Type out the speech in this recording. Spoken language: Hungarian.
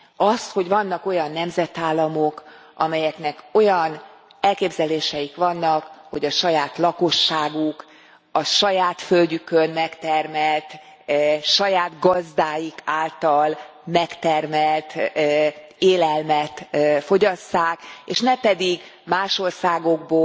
Azt, hogy vannak olyan nemzetállamok, amelyeknek olyan elképzeléseik vannak, hogy a saját lakosságuk a saját földjükön megtermelt, saját gazdáik által megtermelt élelmet fogyasszák, és ne pedig más országokból,